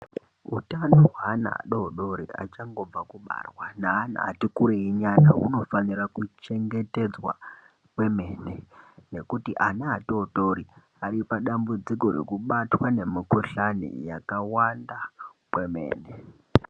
Utano hweana adodori achangobva kubarwa neana ati kurei nyana, hunofanira kuchengetedzwa kwemene, nekuti ana atotori ,ari padambudziko rekubatwa nemikhuhlani yakawanda kwemene.